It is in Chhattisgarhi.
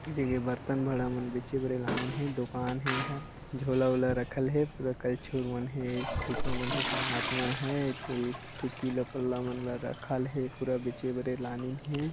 उहि जग बर्तन बड़ा मन जिकरा लानीन हे दुकान हे एहा झोला ओला रखल हे पूरा करछुल ह मन हे चिपा मन हे परात मन हे एती तिला किला मन ल रखल हैं पूरा बीचे बरे लानीन हे।